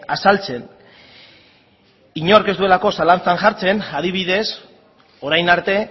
azaltzen inork ez duelako zalantzan jartzen adibidez orain arte